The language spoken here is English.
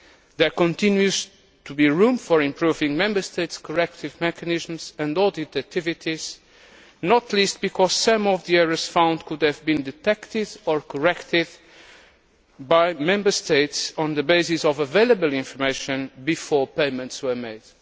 There continues to be room for improving Member States' correction mechanisms and audit activities, not least because some of the errors found could have been detected or corrected by Member States on the basis of available information before payments were made.